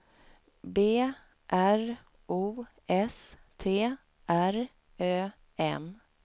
B R O S T R Ö M